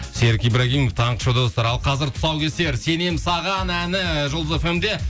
серік ибрагимов таңғы шоу достар ал қазір тұсаукесер сенемін саған әні жұлдыз фм де